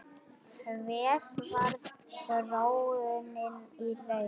Hver varð þróunin í raun?